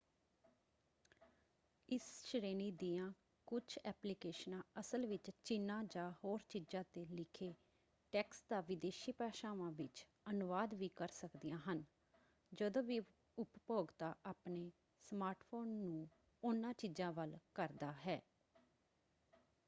ਇਸ ਸ਼੍ਰੇਣੀ ਦੀਆਂ ਕੁਝ ਐਪਲੀਕੇਸ਼ਨਾਂ ਅਸਲ ਵਿੱਚ ਚਿਨ੍ਹਾਂ ਜਾਂ ਹੋਰ ਚੀਜ਼ਾਂ 'ਤੇ ਲਿਖੇ ਟੈਕਸਟ ਦਾ ਵਿਦੇਸ਼ੀ ਭਾਸ਼ਾਵਾਂ ਵਿੱਚ ਅਨੁਵਾਦ ਵੀ ਕਰ ਸਕਦੀਆਂ ਹਨ ਜਦੋਂ ਵੀ ਉਪਭੋਗਤਾ ਆਪਣੇ ਸਮਾਰਟਫ਼ੋਨ ਨੂੰ ਉਹਨਾਂ ਚੀਜ਼ਾਂ ਵੱਲ ਕਰਦਾ ਹੈ।